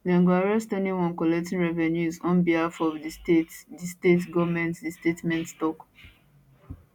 dem go arrest anyone collecting revenues on behalf of di state di state goment di statement tok